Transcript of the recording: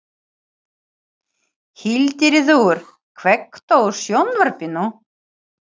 Hildiríður, kveiktu á sjónvarpinu.